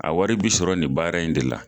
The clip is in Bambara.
A wari bi sɔrɔ nin baara in de la